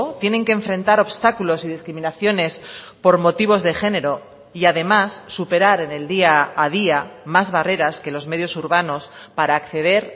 tienen que enfrentar obstáculos y discriminaciones por motivos de género y además superar en el día a día más barreras que los medios urbanos para acceder